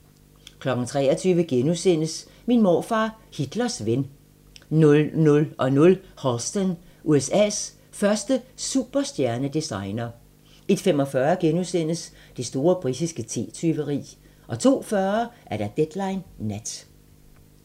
23:00: Min morfar, Hitlers ven * 00:00: Halston - USA's første superstjerne-designer 01:45: Det store britiske te-tyveri * 02:40: Deadline Nat